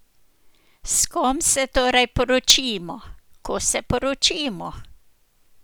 S kom se torej poročimo, ko se poročimo?